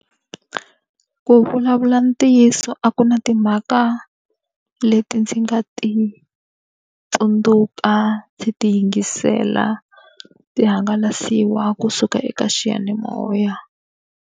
Ku vulavula ntiyiso a ku na timhaka leti ndzi nga ti tsundzuka ndzi ti yingisela, ti hangalasiwa kusuka eka xiyanimoya.